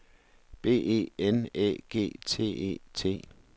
B E N Æ G T E T